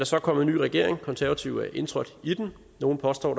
så kommet en ny regering og de konservative er indtrådt i den nogle påstår